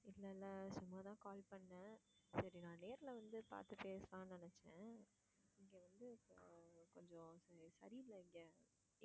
இல்ல இல்ல. சும்மா தான் call பண்ணேன் சரி நான் நேர்ல வந்து பாத்து பேசலான்னு நினச்சேன் இங்க வந்து இப்ப கொஞ்சம் சரி இல்ல இங்க.